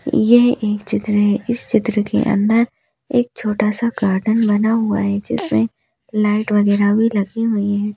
यह एक चित्र है इस चित्र के अंदर एक छोटा सा गार्डन बना हुआ है जिसमें लाइट वगैरह भी लगी हुई है।